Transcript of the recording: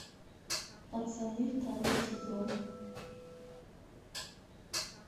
пацаны второй сезон